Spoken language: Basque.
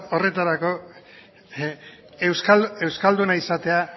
horretarako euskalduna izatea